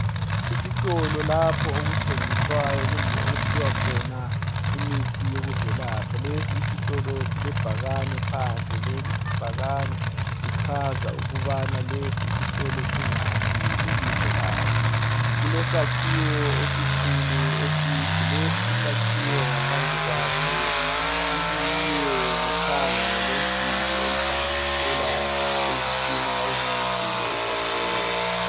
Isitolo lapho okuthengiswayo kumbe okuphiwa khona imithi yokuzelapha. Lesi isitolo silebhakane phandle. Leli ibhakane lichaza ukubana lesi isitolo singaphi lebizo leso. Kulesakhiwo esikhulu eside. Lesi isakhiwo ngaphandle kwaso sibiyiwe ngothango lwensimbi oluhlanganisela izitina ezingumduli ezakhiweyo.